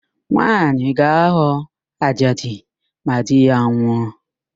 Nwaanyị ga-aghọ ajadi ma di ya nwụọ